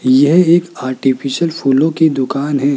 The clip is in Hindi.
यह एक आर्टिफिशियल फूलों की दुकान है।